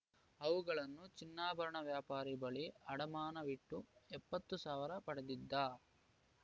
ಅವುಗಳನ್ನು ಚಿನ್ನಾಭರಣ ವ್ಯಾಪಾರಿ ಬಳಿ ಅಡಮಾನವಿಟ್ಟು ಎಪ್ಪತ್ತು ಸಾವಿರ ಪಡೆದಿದ್ದ